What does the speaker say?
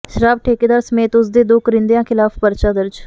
ਸ਼ਰਾਬ ਠੇਕੇਦਾਰ ਸਮੇਤ ਉਸ ਦੇ ਦੋ ਕਰਿੰਦਿਆਂ ਖਿਲਾਫ਼ ਪਰਚਾ ਦਰਜ